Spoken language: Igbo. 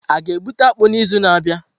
A ga-egbute akpu n'izu na-abịa?